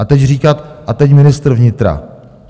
A teď říkat - a teď ministr vnitra...